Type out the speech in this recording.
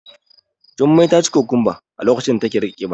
Jummai taci kukumba a lokacin da take rage kiba.